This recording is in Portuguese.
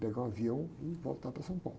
Pegar um avião e voltar para São Paulo.